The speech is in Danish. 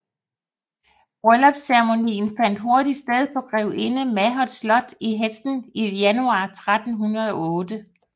Brulllypsceremonien fandt hurtigt sted på grevinde Mahauts slot i Hesdin i januar 1308